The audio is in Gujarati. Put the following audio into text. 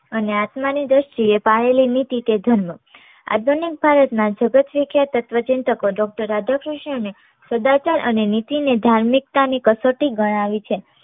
અને આત્માની દ્રષ્ટિ એ પાળેલી નીતિ એ ધર્મ આધુનિક ભારતના જગત વિખ્યાત તત્વચિંતક doctor રાધા કૃષ્ણને સદાચાર અને નીતિ ને ધાર્મિકતાની કસોટી ગણાવી છે.